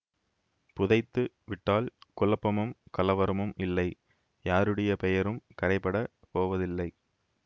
புதைத்து விட்டால் குழப்பமும் கலவரமும் இல்லை யாருடைய பெயரும் கறைபடப் போவதில்லை